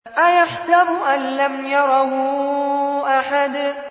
أَيَحْسَبُ أَن لَّمْ يَرَهُ أَحَدٌ